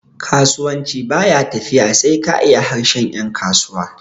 kasuwanci ba ya tafiya sai ka iya harshen yankasuwa